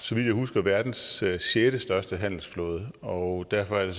så vidt jeg husker verdens sjette sjette største handelsflåde og derfor er det